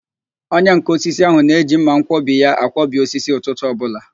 Onyenká osisi ahụ na-eji mmanwkọbi ya akwọbi osisi ụtụtụ ọbụla